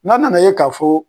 N ko a nana ye k'a fɔ